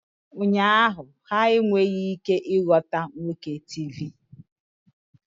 Ụnyaahụ, ha enweghị ike ịghọta nwoke Tivi